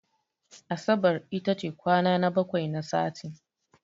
Asabar iata ce kwana na bakwai na sati.